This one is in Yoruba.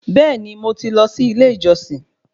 Beeni, Mo ti lọ sí ilé ìjọsìn